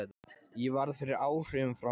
Ég varð fyrir áhrifum frá henni.